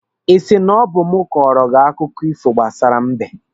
Ị sị na ọ bụ mụ kọrọ gị akụkọ ifo gbasara mbe?